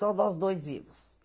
Só nós dois vivos.